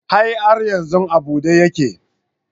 A'a har yanzu a bude yake.